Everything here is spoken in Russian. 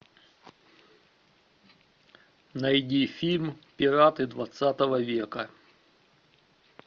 найди фильм пираты двадцатого века